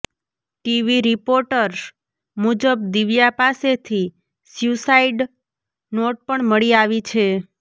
TV reports મુજબ દિવ્યા પાસેથી suicide note પણ મળી આવી છે